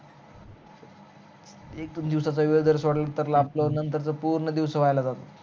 एक दोन दिवसाच वेळ जर सोडला तर आपल्याला नंतर च पूर्ण वाया जातात